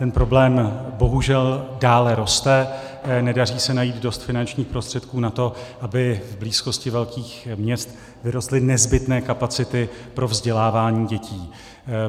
Ten problém bohužel dále roste, nedaří se najít dost finančních prostředků na to, aby v blízkosti velkých měst vyrostly nezbytné kapacity pro vzdělávání dětí.